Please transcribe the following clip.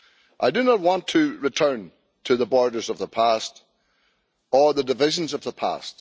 I do not want to return to the borders of the past or the divisions of the past.